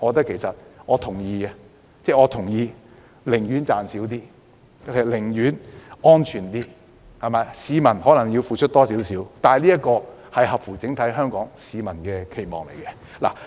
其實，我贊成寧可少賺一點錢，也要確保市民安全，即使市民須多付一點費用，但卻合乎整體香港市民的期望。